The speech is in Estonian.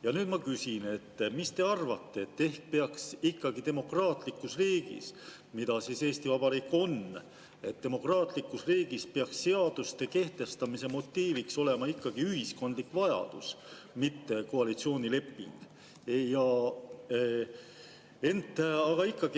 Ja nüüd ma küsin: mis te arvate, kas peaks demokraatlikus riigis, mida Eesti Vabariik on, seaduste kehtestamise motiiviks olema ühiskondlik vajadus, mitte koalitsioonileping?